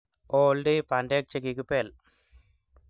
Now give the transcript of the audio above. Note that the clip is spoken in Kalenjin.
ooldei bandek chekikibel